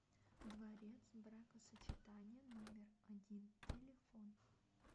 дворец бракосочетания номер один телефон